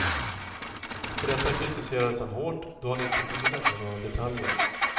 För detta kritiserades han hårt, då han inte kunde lämna några detaljer.